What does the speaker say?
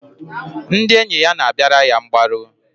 Ndị enyi ya na-abịara ya mgbaru.